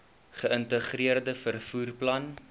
geïntegreerde vervoer plan